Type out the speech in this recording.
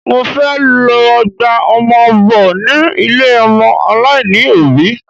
Mo fẹ́ lọ gba ọmọ bọ ni ilé ọmọ aláìní òbí